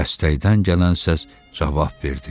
Dəstəkdən gələn səs cavab verdi.